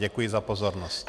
Děkuji za pozornost.